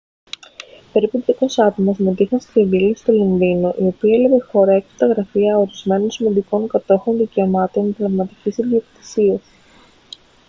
περίπου 200 άτομα συμμετείχαν σε διαδήλωση στο λονδίνο η οποία έλαβε χώρα έξω από τα γραφεία ορισμένων σημαντικών κατόχων δικαιωμάτων πνευματικής ιδιοκτησίας